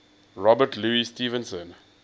robert louis stevenson